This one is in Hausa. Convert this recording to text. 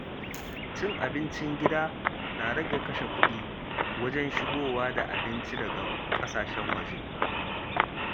Cin abincin gida na rage kashe kuɗi wajen shigowa da abinci daga ƙasashen waje.